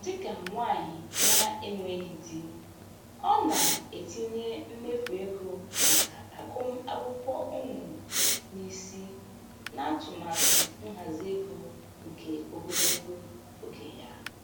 Dịka nwanyị na-enweghị di, ọ na-etinye mmefu ego maka agụmakwụkwọ ụmụ n'isi n'atụmatụ nhazi ego nke ogologo oge ya.